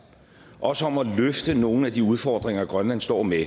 også om at løfte nogle af de udfordringer grønland står med